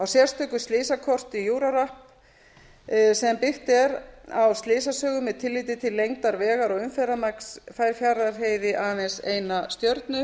sérstöku slysakorti euro rap sem byggt er á slysasögu með tilliti til lengdar vegar og umferðarmagns fær fjarðarheiði aðeins eina stjörnu